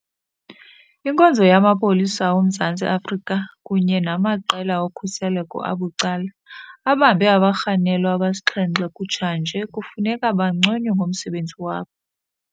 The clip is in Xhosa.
Inkonzo yamaPolisa oMzantsi Afrika kunye namaqela okhuseleko abucala abambe abarhanelwa abasixhenxe kutshanje kufuneka banconywe ngomsebenzi wabo.